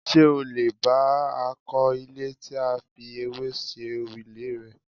Ṣé o lè bay I kọ́ ilé tí a fi ewé ṣe òrùlé rẹ̀?